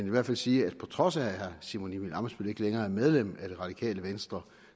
i hvert fald sige at på trods af at herre simon emil ammitzbøll ikke længere er medlem af det radikale venstre